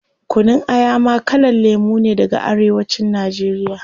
Kunun Aya ma kalan lemu ne daga arewa cin nigeria